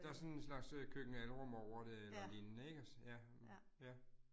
Der sådan en slags øh køkken-alrum over det eller lignende ja, ja